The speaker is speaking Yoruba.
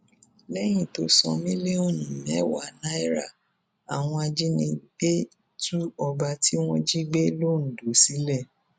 lẹyìn tó san mílíọnù mẹwàá náírà àwọn ajínigbé tú ọba tí wọn jí gbé londo sílẹ